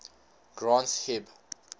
granth hib